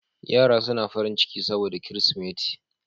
Yara suna farin ciki saboda Kirsimeti